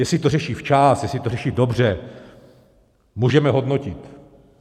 Jestli to řeší včas, jestli to řeší dobře, můžeme hodnotit.